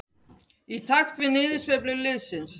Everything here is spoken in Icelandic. Í takt við niðursveiflu liðsins.